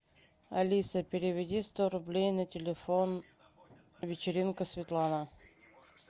алиса переведи сто рублей на телефон вечеринка светлана